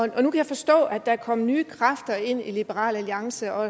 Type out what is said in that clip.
nu kan jeg forstå at der er kommet nye kræfter ind i liberal alliance og